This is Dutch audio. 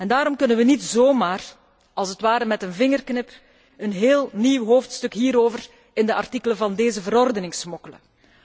Daarom kunnen we niet zomaar, als het ware met een vingerknip, een heel nieuw hoofdstuk hierover in de artikelen van deze verordening smokkelen.